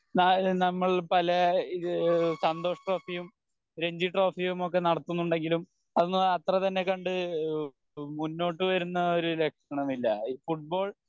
നാ നമ്മൾ പല ഈഹ് സന്തോഷ് ട്രോഫിയും രഞ്ജി ട്രോഫിയും ഒക്കെ നടത്തുന്നുണ്ടെങ്കിലും അതൊന്നും അത്ര തന്നെ കണ്ട് ഈഹ് മുന്നോട്ട് വരുന്ന ഒരു ലക്ഷണമില്ല ഫുട്ബോൾ